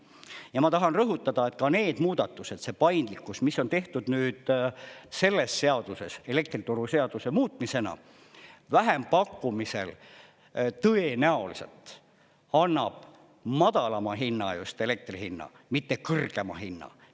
Ja ma tahan rõhutada, et ka need muudatused, see paindlikkus, mis on tehtud nüüd selles seaduses elektrituruseaduse muutmisena, vähempakkumisel tõenäoliselt annab madalama hinna, just elektri hinnaga, mitte kõrgema hinna.